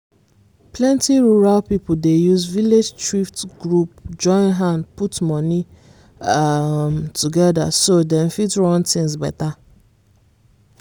plenty rural people dey use village thrift group join hand put money um together so dem fit run things better.